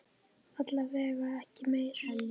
Alla vega ekki meir.